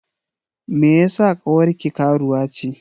Me yeasa ƙawarki karuwa ce?